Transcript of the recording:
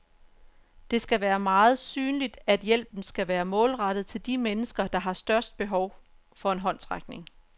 Det skal være meget synligt, at hjælpen skal være målrettet til de mennesker, der har størst behov for en håndsrækning.